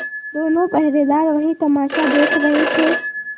दोनों पहरेदार वही तमाशा देख रहे थे